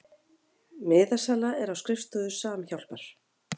Miðasala er á skrifstofu Samhjálpar